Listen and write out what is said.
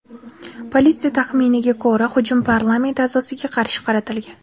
Politsiya taxminiga ko‘ra, hujum parlament a’zosiga qarshi qaratilgan.